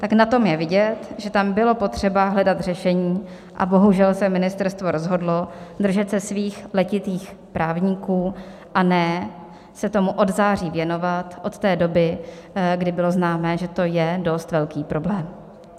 Tak na tom je vidět, že tam bylo potřeba hledat řešení, a bohužel se ministerstvo rozhodlo držet se svých letitých právníků, a ne se tomu od září věnovat, od té doby, kdy bylo známé, že to je dost velký problém.